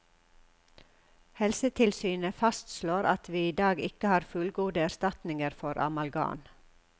Helsetilsynet fastslår at vi i dag ikke har fullgode erstatninger for amalgam.